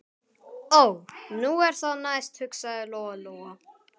Ó, nú er það næst, hugsaði Lóa Lóa.